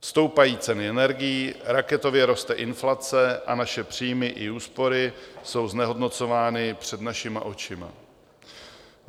Stoupají ceny energií, raketově roste inflace a naše příjmy i úspory jsou znehodnocovány před našima očima.